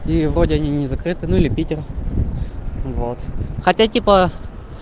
и вроде они не закрыты ну или питер вот хотя типа